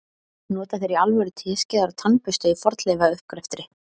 nota þeir í alvöru teskeiðar og tannbursta í fornleifauppgreftri